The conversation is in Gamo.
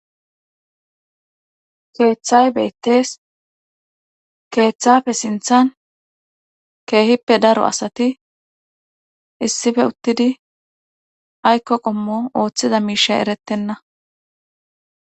Keethay beettees keethafe sinthan keehippe daro asati issife uttidi aykko qommo oothiza miishay erettenna.